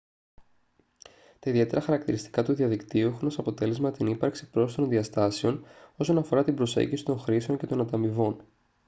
τα ιδιαίτερα χαρακτηριστικά του διαδικτύου έχουν ως αποτέλεσμα την ύπαρξη πρόσθετων διαστάσεων όσον αφορά την προσέγγιση των χρήσεων και των ανταμοιβών